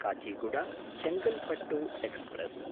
Kacheguda Chengalpattu express